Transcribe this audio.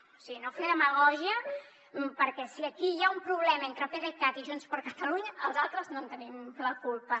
o sigui no fer demagògia perquè si aquí hi ha un problema entre pdecat i junts per catalunya els altres no en tenim la culpa